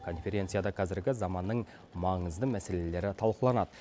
конференцияда қазіргі заманның маңызды мәселелері талқыланады